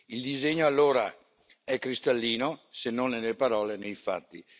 Il disegno, allora, è cristallino se non nelle parole, nei fatti.